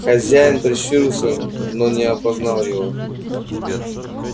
хозяин прищурился но не опознал его